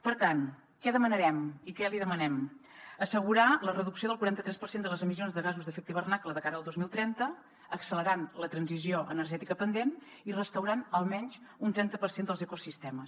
per tant què demanarem i què li demanem assegurar la reducció del quaranta tres per cent de les emissions de gasos d’efecte hivernacle de cara al dos mil trenta accelerant la transició energètica pendent i restaurant almenys un trenta per cent dels ecosistemes